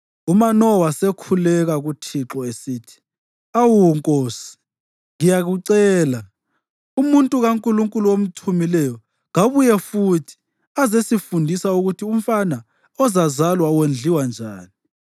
UManowa wasekhuleka kuThixo esithi, “Awu Nkosi, ngiyakucela, umuntu kaNkulunkulu omthumileyo kabuye futhi azesifundisa ukuthi umfana ozazalwa wondliwa njani.”